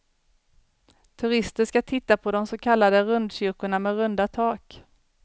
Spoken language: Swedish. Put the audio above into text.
Turister ska titta på de så kallade rundkyrkorna med runda tak.